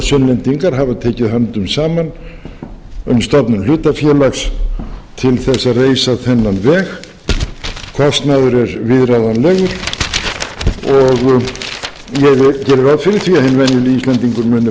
sunnlendingar hafa tekið höndum saman um stofnun hlutafélags til að reisa þennan veg kostnaður er viðráðanlegur og ég geri ráð fyrir því að hinn venjulegi íslendingur muni